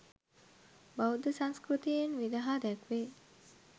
බෞද්ධ සංස්කෘතියෙන් විදහා දැක්වේ.